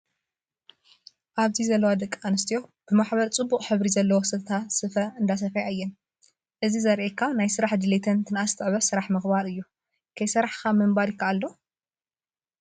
ኣብዚ ዘለዋ ዲቂ ኣንስትዮ ብማሕበር ፅቡቅ ሕብሪ ዘለዎ ሰተታ ስፋ እንዳሰፈያ እየን። እዚ ዘሪኣካ ናይ ስራሕ ድሌትን ትንኣስ ትዕበ ስራሕ ምክባር እዩ። ከይሰራሕካ ምንባር ይካኣል ዶ ?